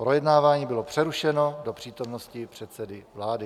Projednávání bylo přerušeno do přítomnosti předsedy vlády.